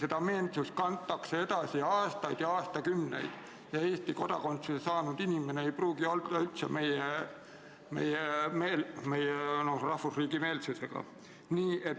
Seda meelsust kantakse edasi aastaid ja aastakümneid ja Eesti kodakondsuse saanud inimene ei pruugi üldse meie rahvusriigi meelne olla.